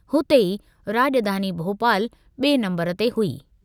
हुते ई राॼधानी भोपालु बि॒ए नंबरु ते हुई।